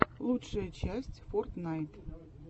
лучшая часть фортнайт